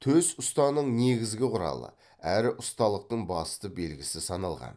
төс ұстаның негізгі құралы әрі ұсталықтың басты белгісі саналған